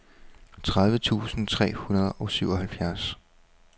tredive tusind tre hundrede og syvoghalvfjerds